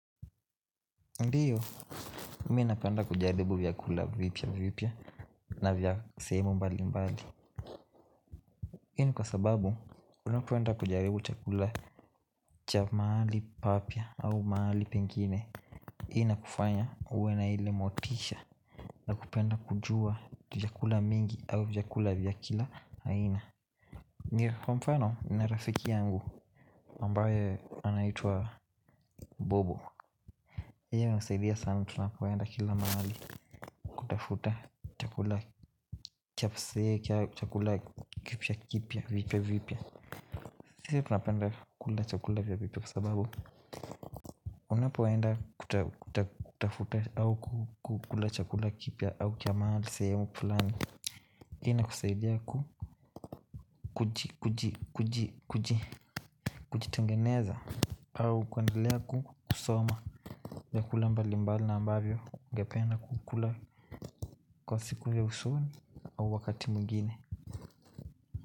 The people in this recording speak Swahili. Ndiyo, mi napenda kujaribu vyakula vipya vipya na vya sehemu mbali mbali Hii ni kwa sababu, unapoenda kujaribu chakula cha mahali papya au mahali pengine Hii inakufanya uwe na ile motisha Nakupenda kujua vyakula mingi au vyakula vya kila aina ni kwa mfano, nina rafiki yangu ambaye anaitwa Bobo Iyo inasaidia sana tunapoenda kila mahali Tafuta chakula kipya kipya. Sisi tunapenda kula chakula kipya kwa sababu Unapoenda kutafuta au kula chakula kipya au sehemu fulani hiyo inukusaidia ku kujitengeneza au kuendelea kusoma vyakula mbalimbali na ambavyo ungependa kula kwa siku ya usoni au wakati mwingine.